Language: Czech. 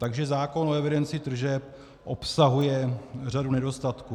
Takže zákon o evidenci tržeb obsahuje řadu nedostatků.